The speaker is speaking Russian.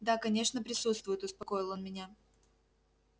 да конечно присутствуют успокоил он меня